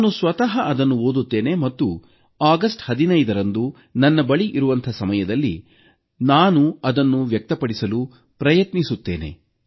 ನಾನು ಸ್ವತಃ ಅದನ್ನು ಓದುತ್ತೇನೆ ಮತ್ತು ಆಗಸ್ಟ್ 15ರಂದು ನನ್ನ ಬಳಿ ಇರುವಂಥ ಸಮಯದಲ್ಲಿ ನಾನು ಅದನ್ನು ವ್ಯಕ್ತಪಡಿಸಲು ಪ್ರಯತ್ನಿಸುತ್ತೇನೆ